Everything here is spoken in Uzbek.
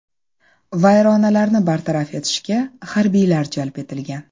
Vayronalarni bartaraf etishga harbiylar jalb etilgan.